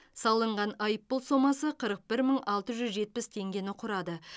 салынған айыппұл сомасы қырық бір мың алты жүз жетпіс теңгені құрады